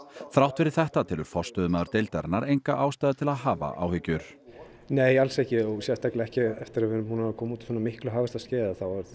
þrátt fyrir þetta telur forstöðumaður deildarinnar enga ástæðu til að hafa áhyggjur nei alls ekki sérstaklega ekki eftir að við komum út úr svona miklu hagvaxtarskeiði